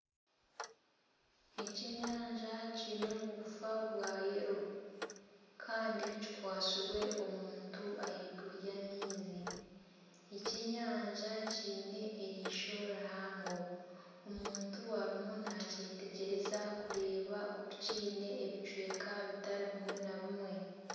Ekyenyanja kiine obugufa bwa kyenju kandi kikwatairwe omuntu ahaiguru y'amaizi ekyenyanja kiine erisho rihango omuntu ariyo nakyetegyereza kureeba oku kiine ebicweka bitari bimwe na bimwe.